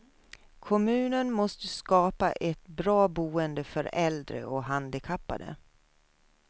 Kommunen måste skapa ett bra boende för äldre och handikappade.